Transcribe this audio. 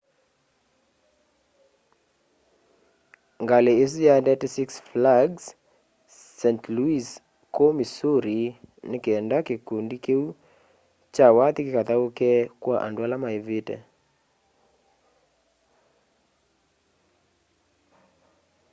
ngalĩ ĩsũ yaendete six flags st louis kũũ missouri nĩ kenda kĩkũndĩ kĩũ kya wathĩ kĩkathaũke kwa andũ ala maĩvĩte